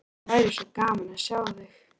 Það væri svo gaman að sjá þig.